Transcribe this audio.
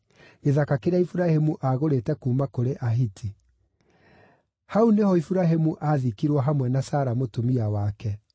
gĩthaka kĩrĩa Iburahĩmu aagũrĩte kuuma kũrĩ Ahiti. Hau nĩho Iburahĩmu aathikirwo hamwe na Sara mũtumia wake.